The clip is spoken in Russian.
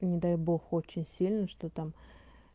не дай бог очень сильно что там